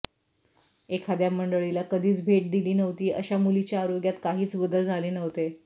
एखाद्या मंडळीला कधीच भेट दिली नव्हती अशा मुलीच्या आरोग्यात काहीच बदल झाले नव्हते